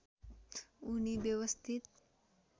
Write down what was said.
उनी व्यवस्थित